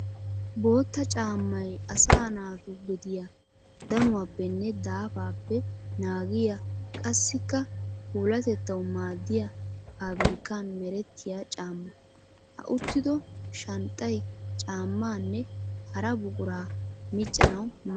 Bootta caamay asaa naatu gediya danuwappenne daafappe naagiya qassikka puulatettawu maadiya pabirkkan merettiya caama. Ha uttido shanxxay caamanne hara buqura miccanawu maadees.